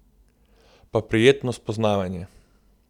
Pa prijetno spoznavanje!